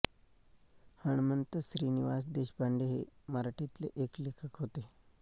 हणमंत श्रीनिवास देशपांडे हे मराठीतले एक लेखक होते